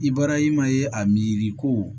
I bɔra i ma ye a miiri ko